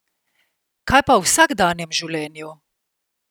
Kaj pa v vsakdanjem življenju?